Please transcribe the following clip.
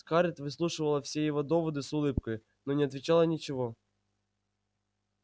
скарлетт выслушивала все эти доводы с улыбкой но не отвечала ничего